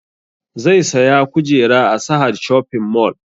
Zai saya kujera a sahad shoping mall